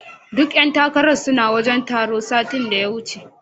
Duka ƴan takarar suna wajen taron satin da ya wuce.